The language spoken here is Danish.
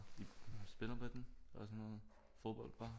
Spiller med den og sådan noget fodbold bare